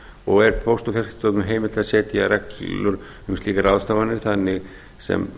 og er póst og fjarskiptastofnun heimilt að setja reglur um slíkar ráðstafanir þar sem